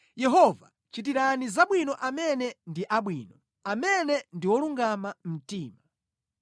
Yehova chitirani zabwino amene ndi abwino, amene ndi olungama mtima